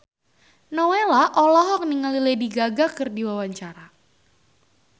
Nowela olohok ningali Lady Gaga keur diwawancara